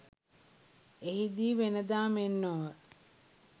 එහිදී වෙන දා මෙන් නොව